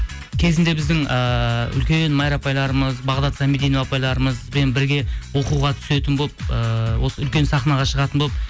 кезінде біздің ыыы үлкен майра апайларымыз бағдат самидинова апайларымызбен бірге оқуға түсетін болып ыыы осы үлкен сахнаға шығатын болып